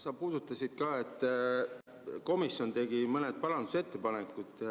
Sa märkisid ka, et komisjon tegi mõned parandusettepanekud.